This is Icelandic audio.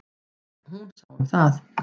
Hún sá um það.